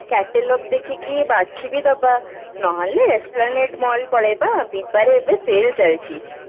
catalogue ଦେଖିକି ବାଛି ବି ଦବା ନହେଲେ esplanade mall ପଳେଇବା biba ରେ ଏବେ sell ଚାଲିଛି